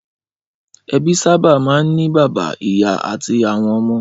Ẹbí sábà máa ń ní bàbá, ìyá àti àwọn ọmọ.